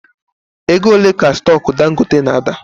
Ego ole ka stock Dangote na ada?